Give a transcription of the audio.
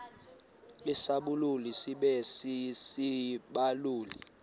isibaluli sibe sisibaluli